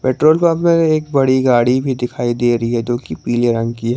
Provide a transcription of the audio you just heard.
Troll pump में एक बड़ी गाड़ी भी दिखाई दे रही है जो की पीले रंग की है।